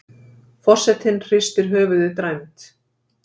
Forsetinn hristir höfuðið dræmt.